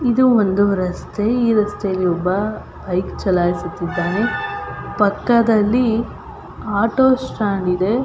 ಇದು ಒಂದು ರಸ್ತೆ ಈ ರಸ್ತೆಯಲ್ಲಿ ಒಬ್ಬ ಬೈಕ್ ಚಲಾಯಿಸುತ್ತಿದ್ದಾನೆ ಪಕ್ಕದಲ್ಲಿ ಆಟೋ ಸ್ಟಾಂಡ್ ಇದೆ .